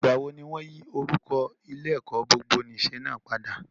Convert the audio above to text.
Ìgbàwo ni wọ́n yí orúkọ Ilé-ẹ̀kọ́ gbogbonìṣe náà padà?